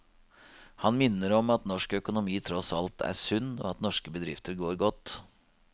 Han minner om at norsk økonomi tross alt er sunn og at norske bedrifter går godt.